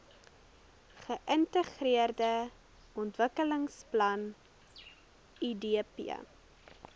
geintegreerde ontwikkelingsplan idp